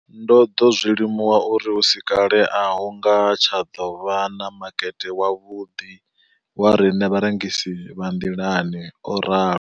Ndo ḓo zwi limuwa uri hu si kale a hu nga tsha ḓo vha na makete wavhuḓi wa riṋe vharengisi vha nḓilani, o ralo.